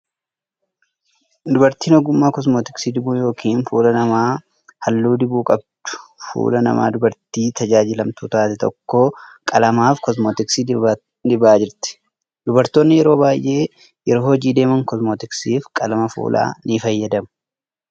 Dubartiin ogummaa kosmeetiksii dibuu yokin fuula namaa haalluu dibuu qabdu, fuula nama dubartii tajaajilamtuu taate tokkoo qalama fi koosmeetiksii dibaa jirti. Dubartoonni yeroo baay'ee yeroo hojii deeman koosmeetiksii fi qalama fuulaa ni fayyadamu.